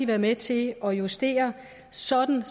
være med til at justere sådan